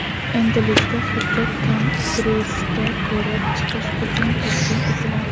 Endilikda hujjat Kongressga ko‘rib chiqish uchun taqdim etiladi.